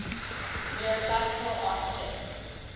neoclassical architects